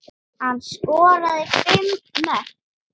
Hann skoraði fimm mörk.